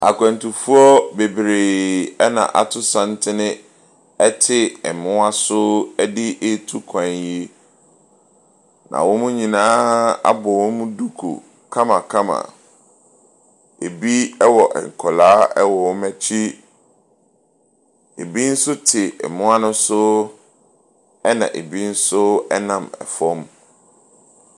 Akwantufoɔ bebree na ato santene te mmoa so de ɛretu kwan. Na wɔn nyinaa abɔ wɔn duku kamakama. Ɛbi wɔ nkwadaa wɔ wɔn akyi, bi nso te mmoa ne so na bi nam fam.